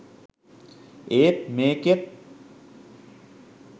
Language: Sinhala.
ඒත් මේකෙත්